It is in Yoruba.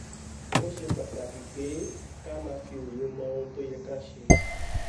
ó ṣe pàtàkì pé ká máa fi òye mọ ohun tó yẹ ká ṣe